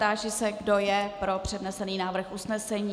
Táži se, kdo je pro přednesený návrh usnesení.